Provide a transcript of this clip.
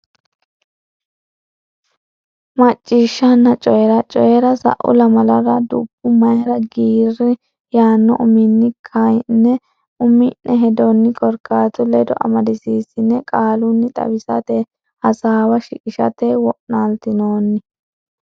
Macciishshanna Coyi ra Coyi ra Sa u lamalara Dubbo Mayra Giirri yaanno uminni ka ine umi ne hedonni korkaatu ledo amadisiissine qaalunni xawisatenni hasaawa shiqishate wo naaltinoonni.